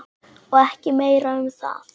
Og ekki meira um það.